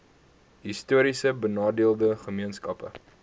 histories benadeelde gemeenskappe